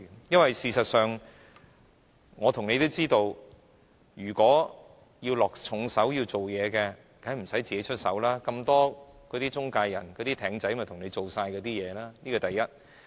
因為，事實上，我和你都知道，如果要落重手、要做工夫，當然無需自己動手，那些中介人、"艇仔"會幫忙處理，這是第一點。